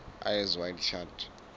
eyes wide shut